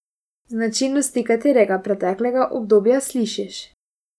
Značilnosti katerega preteklega obdobja slišiš?